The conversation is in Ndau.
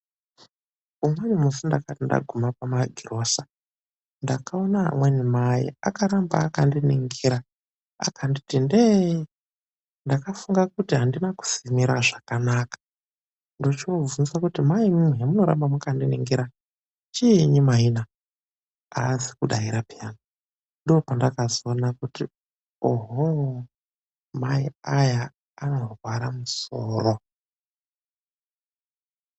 Umweni musi ndakati ndaguma kumagirosa ,ndakaona amweni mai akaramba akandiningira akanditi ndee. Ndakafunga kuti andina kusimira zvakanaka .Ndochoovhunza kuti," Mai imimi zvomoramba makandiningira, chiinyi mai na ?"Aazi kudaira pheya ,ndopandakazoona kuti ohoo ,mai aya anorwara soro .